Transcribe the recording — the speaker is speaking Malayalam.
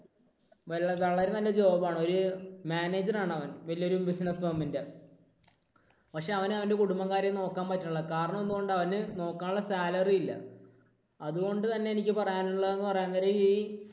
വളരെ നല്ല ഒരു job ആണ് ഒരു manager ആണവൻ. വലിയൊരു business firm ൻറെ. പക്ഷേ അവനവൻറെ കുടുംബം കാര്യം നോക്കാൻ പറ്റുന്നില്ല. കാരണം എന്തുകൊണ്ടാ? അവന് നോക്കാനുള്ള salary ഇല്ല. അതുകൊണ്ടുതന്നെ എനിക്ക് പറയാനുള്ളത് എന്ന് പറയാൻ നേരം ഈ